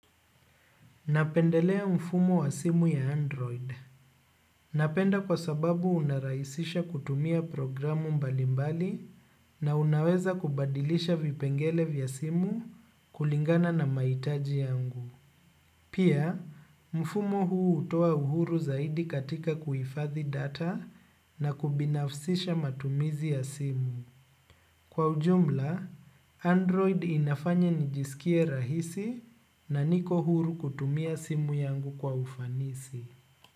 Napendelea mfumo wa simu ya android. Napenda kwa sababu unarahisisha kutumia programu mbalimbali na unaweza kubadilisha vipengele vya simu kulingana na maitaji yangu. Pia, mfumo huu utoa uhuru zaidi katika kuifadhi data na kubinafsisha matumizi ya simu. Kwa ujumla, Android inafanya nijisikie rahisi na niko huru kutumia simu yangu kwa ufanisi.